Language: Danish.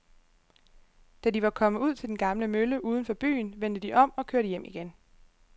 Da de var kommet ud til den gamle mølle uden for byen, vendte de om og kørte hjem igen.